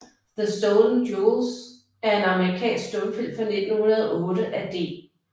The Stolen Jewels er en amerikansk stumfilm fra 1908 af D